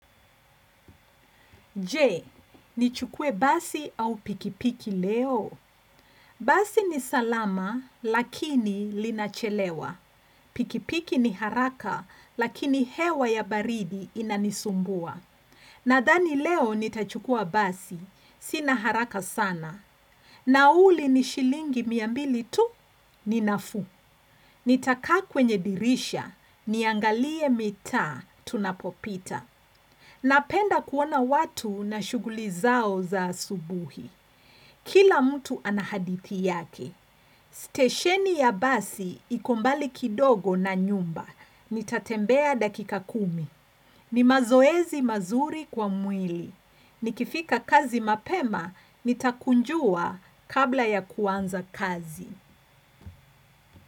Je, ni chukuwe basi au pikipiki leo. Basi ni salama, lakini linachelewa. Pikipiki ni haraka, lakini hewa ya baridi inanisumbua. Nadhani leo nitachukua basi, sina haraka sana. Nauli ni shilingi mia mbili tu, ninafuu. Nitakaa kwenye dirisha, niangalie mitaa, tunapopita. Napenda kuona watu na shughuli zao za asubuhi. Kila mtu anahadithi yake. Stesheni ya basi iko mbali kidogo na nyumba. Nitatembea dakika kumi. Ni mazoezi mazuri kwa mwili. Nikifika kazi mapema nitakunjua kabla ya kuanza kazi.